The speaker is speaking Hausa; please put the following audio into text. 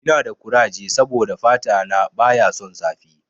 Ina da kuraje saboda fata na baya son zafi.